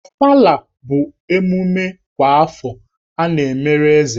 Ofala bụ emume kwa afọ a na-emere Eze.